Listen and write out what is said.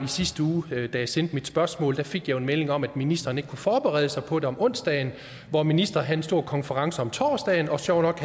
sidste uge da jeg sendte mit spørgsmål jeg fik en melding om at ministeren ikke kunne forberede sig på det til om onsdagen for ministeren havde en stor konference om torsdagen og sjovt nok